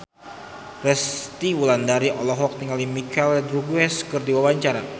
Resty Wulandari olohok ningali Michelle Rodriguez keur diwawancara